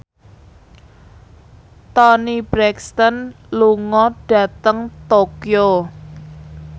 Toni Brexton lunga dhateng Tokyo